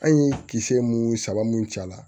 An ye kisɛ mun saba mun ci a la